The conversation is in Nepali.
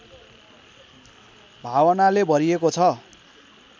भावनाले भरिएको छ